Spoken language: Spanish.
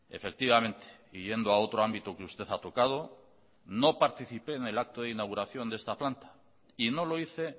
efectivamente y yendo a otro ámbito que usted ha tocado no participé en el acto de inauguración de esta planta y no lo hice